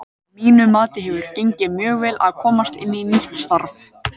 Að mínu mati hefur gengið mjög vel að komast inn í nýtt starf.